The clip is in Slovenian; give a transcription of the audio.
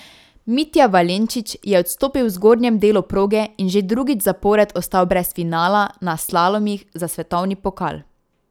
Mitja Valenčič je odstopil v zgornjem delu proge in že drugič zapored ostal brez finala na slalomih za svetovni pokal.